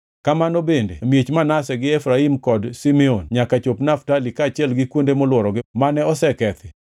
Kamano bende e miech Manase gi Efraim kod Simeon nyaka chop Naftali kaachiel gi kuonde molworogi mane osekethi,